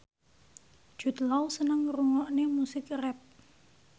Jude Law seneng ngrungokne musik rap